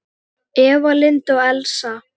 Eva Lind og Elsa.